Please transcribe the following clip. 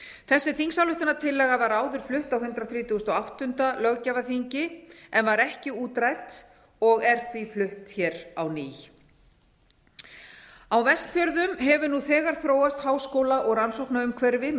þessi þingsályktunartillaga var áður flutt á hundrað þrítugasta og áttunda löggjafarþingi en var ekki útrædd og er því flutt hér á ný á vestfjörðum hefur nú þegar þróast háskóla og rannsóknaumhverfi með